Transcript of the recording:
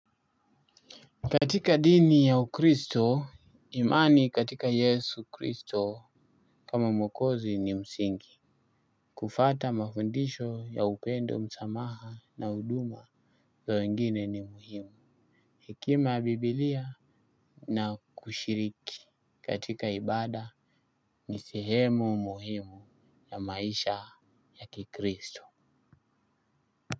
Katika dini ya ukristo imani katika yesu kristo kama mwokozi ni msingi. Kufata mafundisho ya upendo msamaha na huduma za wengine ni muhimu. Hekima ya bibilia na kushiriki katika ibada ni sehemu muhimu ya maisha ya kikristo.